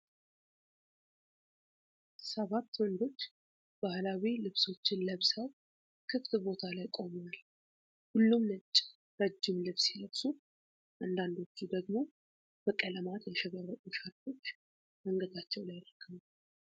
ሰባት ወንዶች ባህላዊ ልብሶችን ለብሰው ክፍት ቦታ ላይ ቆመዋል። ሁሉም ነጭ ረጅም ልብስ ሲለብሱ፣ አንዳንዶቹ ደግሞ በቀለማት ያሸበረቁ ሻርፖች አንገታቸው ላይ አድርገዋል።